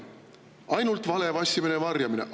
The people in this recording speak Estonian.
Ainult vale, vassimine ja varjamine!